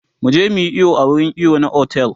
muje muyi iyo a wurin iyo na otel